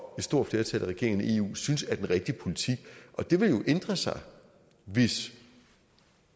stort flertal af regeringerne i eu synes er den rigtige politik og det vil jo ændre sig hvis